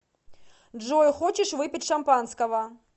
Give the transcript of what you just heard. джой хочешь выпить шампанского